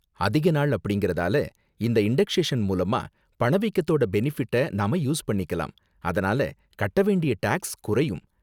அதிக நாள் அப்படிங்கறதால இந்த இன்டக்ஷேஷன் மூலமா பணவீக்கத்தோட பெனிஃபிட்ட நாம யூஸ் பண்ணிக்கலாம், அதனால கட்ட வேண்டிய டேக்ஸ் குறையும்.